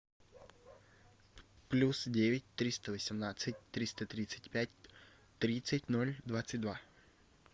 плюс девять триста восемнадцать триста тридцать пять тридцать ноль двадцать два